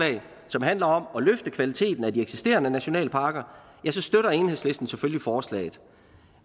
som handler om at løfte kvaliteten af de eksisterende nationalparker støtter enhedslisten selvfølgelig forslaget